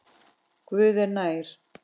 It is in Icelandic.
Guð er nær.